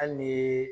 Hali ni